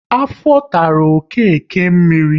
Afọ tara Okeke mmiri